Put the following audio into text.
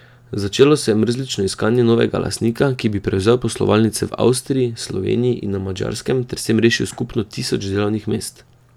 Začelo se je mrzlično iskanje novega lastnika, ki bi prevzel poslovalnice v Avstriji, Sloveniji in na Madžarskem ter s tem rešil skupno tisoč delovnih mest.